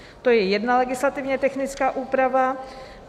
To je jedna legislativně technická úprava.